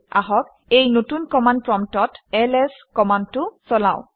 আহক এই নতুন কমাণ্ড প্ৰম্পটত এলএছ কমাণ্ডটো চলাওঁ